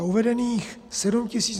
A uvedených 7 tis.